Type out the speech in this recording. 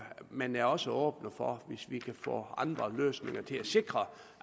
men er også åbne for hvis vi kan få andre løsninger til at sikre